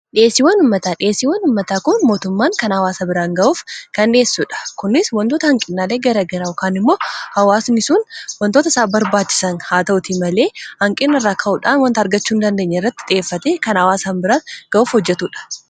dhyieesiiwan ummataa dhiyeesiiwwan ummataa kun mootummaan kan hawaasa biraan ga'uuf kan dhiyeessuudha kunis wantoota hanqinaalee garagaraa kaanimmoo hawaasnisun wantoota isaa barbaachisan haa ta'uti malee hanqinna irraa ka'uudhaan wanta argachuun dandeenye irratti xiyyeeffate kan hawaasan biraan ga'uuf hojjetuudha.